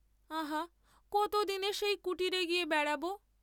আহা, কতদিনে সেই কুটীরে গিয়ে বেড়াব!